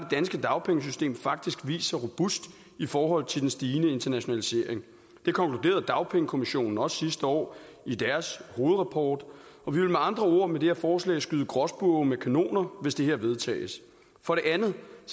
danske dagpengesystem faktisk vist sig robust i forhold til den stigende internationalisering det konkluderede dagpengekommissionen også sidste år i deres hovedrapport og vi vil med andre ord med det her forslag skyde gråspurve med kanoner hvis det vedtages for det andet